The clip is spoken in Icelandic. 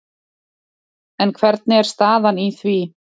En hvernig er staðan í því?